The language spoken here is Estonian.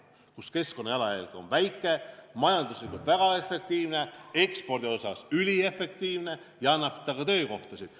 Nii et keskkonnajalajälg on väike, asi on majanduslikult väga efektiivne, ekspordi mõttes üliefektiivne ja tekitab ka töökohtasid.